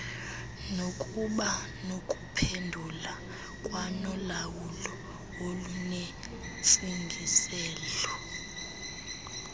nokubanokuphendula kwanolawulo olunentsingiselo